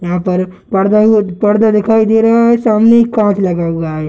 यहां पर पर्दा एगो पर्दा दिखाई दे रहा है सामने एक कांच लगा हुआ है।